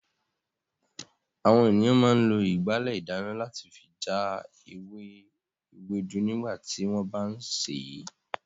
Àwọn ènìyàn máa ń lo ìgbálẹ̀ ìdáná láti fi já ewé ewédú nígbà tí wọ́n bá ń sè é.